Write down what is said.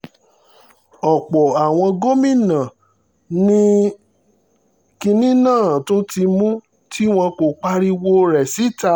ọ̀pọ̀ àwọn gómìnà ni ni kinní náà tún mú tí wọn kò pariwo rẹ̀ síta